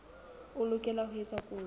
o lokela ho etsa kopo